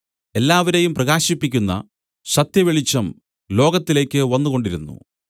എല്ലാവരെയും പ്രകാശിപ്പിക്കുന്ന സത്യവെളിച്ചം ലോകത്തിലേക്കു വന്നുകൊണ്ടിരുന്നു